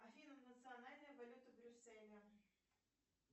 афина национальная валюта брюсселя